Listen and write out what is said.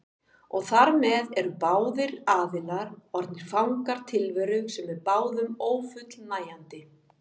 Og þar með eru báðir aðilar orðnir fangar tilveru sem er báðum ófullnægjandi.